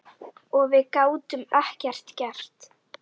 Og við gátum ekkert gert.